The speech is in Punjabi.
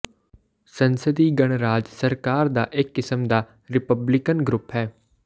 ਸੰਸਦੀ ਗਣਰਾਜ ਸਰਕਾਰ ਦਾ ਇੱਕ ਕਿਸਮ ਦਾ ਰਿਪਬਲਿਕਨ ਰੂਪ ਹੈ